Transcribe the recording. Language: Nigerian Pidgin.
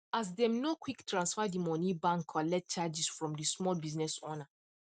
as them no quick transfer the money bank collect charges from the small business owner